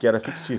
que era fictício.